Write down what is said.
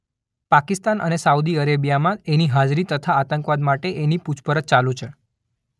પાકિસ્તાન અને સાઉદી અરેબિયામાં એની હાજરી તથા આંતકવાદ માટે એની પુછપરછ ચાલુ છે.